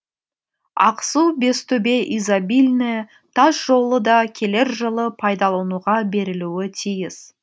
ақсу бестөбе изобильное тасжолы да келер жылы пайдалануға берілуі тиіс